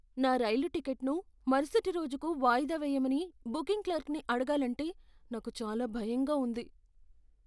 నా రైలు టిక్కెట్ను మరుసటి రోజుకు వాయిదా వేయమని బుకింగ్ క్లర్క్ని అడగాలంటే నాకు చాలా భయంగా ఉంది.